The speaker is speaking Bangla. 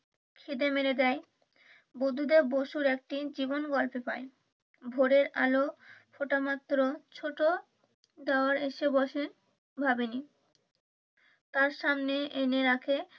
খিদে মেরে দেয় । একটি জীবন বাঁচাতে পারে। ভোরের আলো ফুটা মাত্র ছোট দেওর আসে বসেন ভাবিনি তার সামনে এনে রাখে,